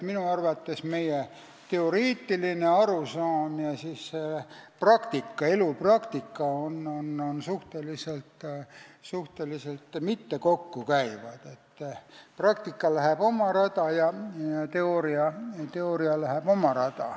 Minu arvates meie teoreetiline arusaam ja elupraktika ei lähe eriti kokku: praktika läheb oma rada ja teooria läheb oma rada.